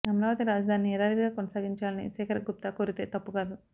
అమరావతి రాజదానిని యదావిదిగా కొనసాగించాలని శేఖర్ గుప్త కోరితే తప్పు కాదు